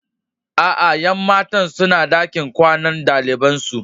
Aa, Yan matan suna dakin kwanan dalibain su.